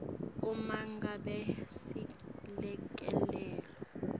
uma ngabe selekelelo